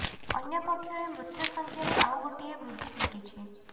ଅନ୍ୟ ପକ୍ଷରେ ମୃତ୍ୟୁ ସଂଖ୍ୟାରେ ଆଉ ଗୋଟିଏ ବୃଦ୍ଧି ଘଟିଛି